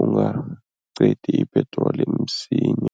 ungaqedi ipetroli msinya.